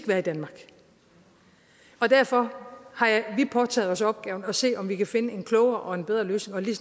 være i danmark derfor har vi påtaget os opgaven at se om vi kan finde en klogere og en bedre løsning og lige